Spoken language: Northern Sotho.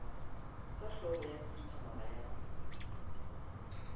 ka hlogo ya khuduthamaga ya